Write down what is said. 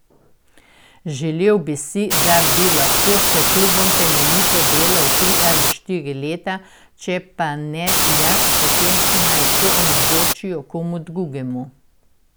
Želel bi si, da bi lahko s klubom temeljito delal tri ali štiri leta, če pa ne jaz, potem naj to omogočijo komu drugemu.